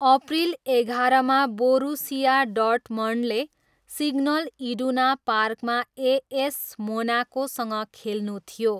April एघारमा, Borussia डर्टमन्डले Signal Iduna पार्कमा एएस मोनाकोसँग खेल्नु थियो।